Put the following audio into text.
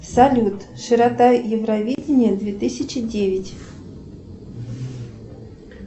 салют широта евровидения две тысячи девять